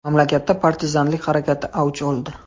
Mamlakatda partizanlik harakati avj oldi.